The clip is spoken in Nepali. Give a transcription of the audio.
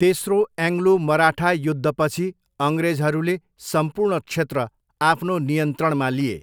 तेस्रो एङ्ग्लो मराठा युद्धपछि अङ्ग्रेजहरूले सम्पूर्ण क्षेत्र आफ्नो नियन्त्रणमा लिए।